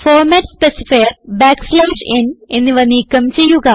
format specifier n എന്നിവ നീക്കം ചെയ്യുക